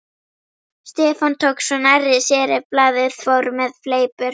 Blaðar skeptískur í farmiðum og vegabréfum.